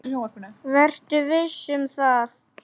Vertu viss um það.